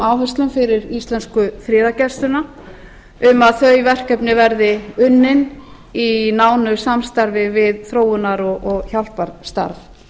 áherslum fyrir íslensku friðargæsluna um að þau verkefni verði unnin í nánu samstarfi við þróunar og hjálparstarf